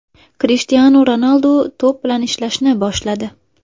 Krishtianu Ronaldu to‘p bilan ishlashni boshladi.